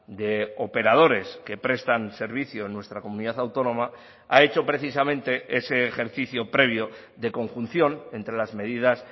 de operadores que prestan servicio en nuestra comunidad autónoma ha hecho precisamente ese ejercicio previo de conjunción entre las medidas